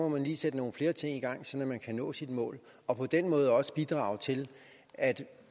man lige sætte nogle flere ting i gang så man kan nå sine mål og på den måde også bidrage til at